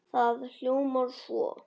Það hljómar svo